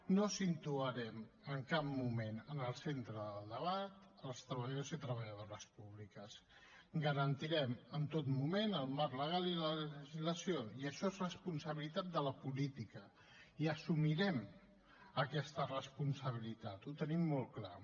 no situarem en cap moment en el centre del debat els treballadors i treballadores públiques garantirem en tot moment el marc legal i la legislació i això és responsabilitat de la política i assumirem aquesta responsabilitat ho tenim molt clar